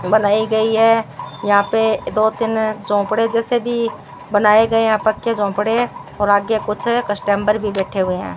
बनाई गई है यहां पे दो तीन झोंपड़े जैसे भी बनाए गए हैं यहां पक्के झोंपड़े और आगे कुछ कस्टमर भी बैठे हुए हैं।